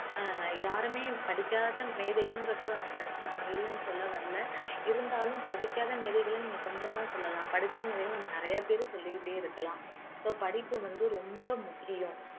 அஹ் யாருமே படிக்காத மேதைகளும் இருக்குறாங்க நான் இல்லன்னு சொல்ல வரல இருந்தாலும் படிக்காத மேதைகள நீங்க கொஞ்சம் தான் சொல்லலாம் படிச்ச மேதைகள நம்ப நிறைய பேர் சொல்லிக்கிட்டே இருக்கலாம் so படிப்பு வந்து ரொம்ப முக்கியம்